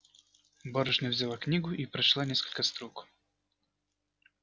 барышня взяла книгу и прочла несколько строк